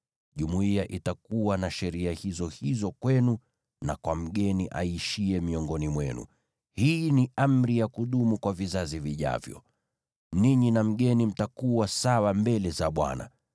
Jumuiya itakuwa na sheria hizo hizo kwenu na kwa mgeni aishiye miongoni mwenu; hii ni amri ya kudumu kwa vizazi vijavyo. Ninyi na mgeni mtakuwa sawa mbele za Bwana :